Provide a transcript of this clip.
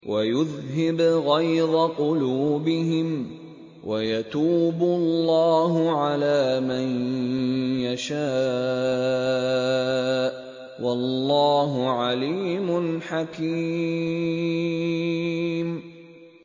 وَيُذْهِبْ غَيْظَ قُلُوبِهِمْ ۗ وَيَتُوبُ اللَّهُ عَلَىٰ مَن يَشَاءُ ۗ وَاللَّهُ عَلِيمٌ حَكِيمٌ